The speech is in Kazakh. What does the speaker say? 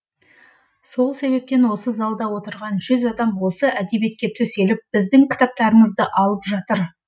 сол себептен осы залда отырған адам осы әдебиетке төселіп біздің кітаптарымызды алып жатыр